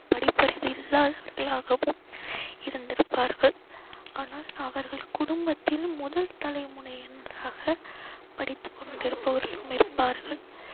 படிப்பறிவு இல்லாதவர்களாகவும் இருந்திருப்பார்கள். ஆனால் அவர்கள் குடும்பத்தில் முதல் தலைமுறையினராக படித்து கொண்டிருப்பவர்களும் இருப்பார்கள்.